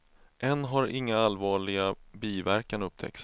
Än har inga allvarliga biverkan upptäckts.